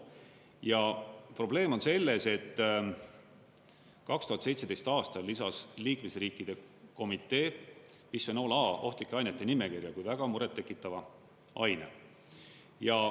Ja probleem on selles, et 2017. aastal lisas liikmesriikide komitee bisfenool A ohtlike ainete nimekirja kui väga muret tekitava aine.